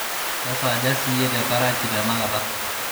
kesaaja siyie te karachi tenakata